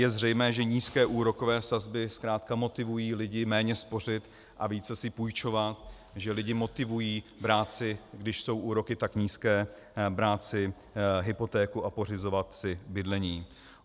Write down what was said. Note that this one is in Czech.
Je zřejmé, že nízké úrokové sazby zkrátka motivují lidi méně spořit a více si půjčovat, že lidi motivují brát si, když jsou úroky tak nízké, brát si hypotéku a pořizovat si bydlení.